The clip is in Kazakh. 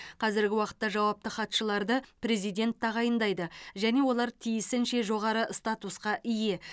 қазіргі уақытта жауапты хатшыларды президент тағайындайды және олар тиісінше жоғары статусқа ие